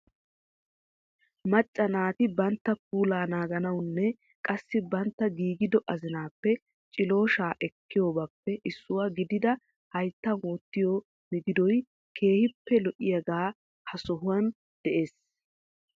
Macca naati bantta puulaa naaganawunne qassi bantta giigido azinaappe cilooshaa ekkiyobaappe issuwa gidida hayittan wottiyo migidoy keehippe lo'iyaagee ha sohuwan de'es.